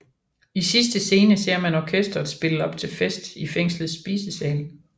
I sidste scene ser man orkesteret spille op til fest i fængslets spisesal